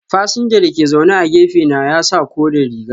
Fasinja da ke zaune a gefe na ya sa kore riga.